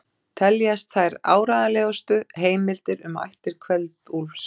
Teljast þær áreiðanlegustu heimildir um ættir Kveld-Úlfs.